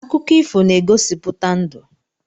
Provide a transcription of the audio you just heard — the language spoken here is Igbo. Akụkọ ifo na-egosipụta ndụ.